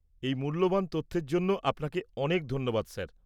এই মূল্যবান তথ্যের জন্য আপনাকে অনেক ধন্যবাদ, স্যার।